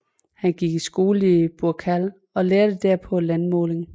Han gik i skole i Burkal og lærte derpå landmåling